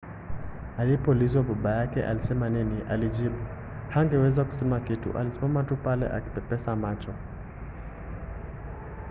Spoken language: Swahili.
alipoulizwa baba yake alisema nini alijibu hangeweza kusema kitu- alisimama tu pale akipepesa macho.